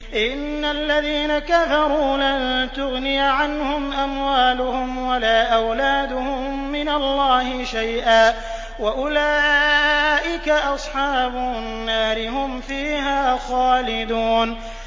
إِنَّ الَّذِينَ كَفَرُوا لَن تُغْنِيَ عَنْهُمْ أَمْوَالُهُمْ وَلَا أَوْلَادُهُم مِّنَ اللَّهِ شَيْئًا ۖ وَأُولَٰئِكَ أَصْحَابُ النَّارِ ۚ هُمْ فِيهَا خَالِدُونَ